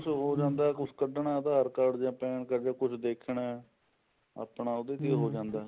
ਕੁੱਛ ਹੋ ਜਾਂਦਾ ਕੁੱਛ ਕੱਢਨਾ ਆਧਾਰ card ਜਾ PAN card ਜਾ ਕੁੱਝ ਦੇਖਣਾ ਆਪਣਾ ਉਹਦੇ ਤੇ ਹੋ ਜਾਂਦਾ